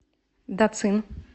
дацин